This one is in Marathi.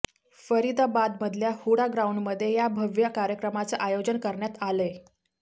फरीदाबादमधल्या हुडा ग्राऊंडमध्ये या भव्य कार्यक्रमाचं आयोजन करण्यात आलंय